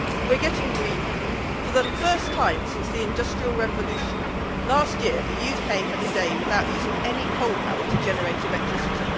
We are getting greener. For the first time since the Industrial Revolution, last year the UK had a day without using any coal power to generate electricity.